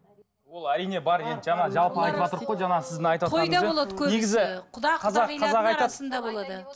ол әрине бар енді жаңа жалпы айтыватырық қой жаңағы сіздің айтыватқаныңызбен